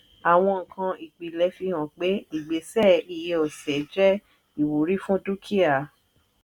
àwọn nǹkan ìpìlẹ̀ fi hàn pé ìgbésẹ̀ iye ọ̀sẹ̀ jé ìwúrí fún dúkìá.